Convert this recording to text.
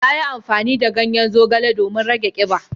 Yayi amfani da ganyen zogale domin rage kiba.